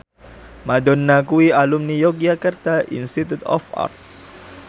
Madonna kuwi alumni Yogyakarta Institute of Art